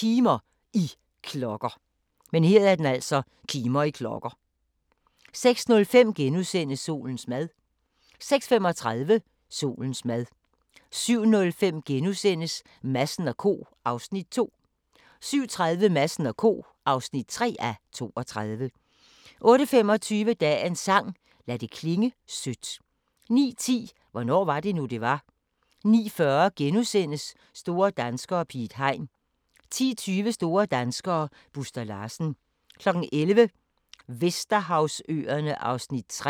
Solens mad * 06:35: Solens mad 07:05: Madsen & Co. (2:32)* 07:30: Madsen & Co. (3:32) 08:25: Dagens sang: Lad det klinge sødt 09:10: Hvornår var det nu, det var? 09:40: Store danskere - Piet Hein * 10:20: Store danskere - Buster Larsen 11:00: Vesterhavsøerne (3:5)